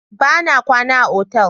Bana kwana a otal.